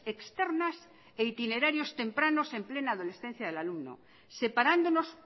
externas e itinerarios tempranos en plena adolescencia del alumno separándonos